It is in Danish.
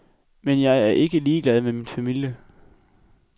Men jeg er ikke ligeglad med min familie.